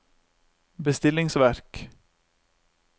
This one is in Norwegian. bestillingsverk